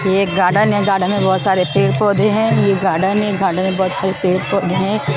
ये एक गार्डन है गार्डन में बहुत सारे पेड़-पौधे हैं ये गार्डन है गार्डन में बहुत सारे पेड़-पौधे हैं।